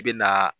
I bɛ na